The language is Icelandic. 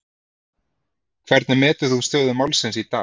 Hvernig metur þú stöðu málsins í dag?